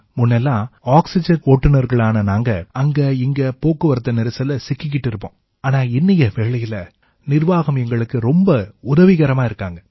முன்ன எல்லாம் ஆக்சிஜன் ஓட்டுனர்களான நாங்க அங்க இங்க போக்குவரத்து நெரிசல்ல சிக்கிக்கிட்டு இருப்போம் ஆனா இன்னைய வேளையில நிர்வாகம் எங்களுக்கு ரொம்பவே உதவிகரமா இருக்காங்க